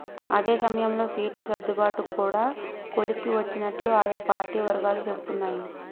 అదే సమయంలో సీట్లు సర్దుబాటు కూడా కొలిక్కి వచ్చినట్లు అయా పార్టీ వర్గాలు చెపుతున్నాయి